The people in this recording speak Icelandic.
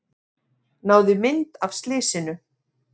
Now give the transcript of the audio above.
Náði mynd af slysinu